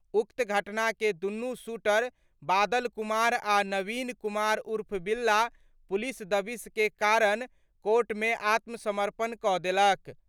उक्त घटना के दुनु शूटर बादल कुमार आ नवीन कुमार उर्फ बिल्ला पुलिस दबिश के कारण कोर्ट मे आत्मसमर्पण क' देलक।